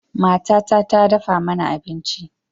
Matata ta dafa mana abinci.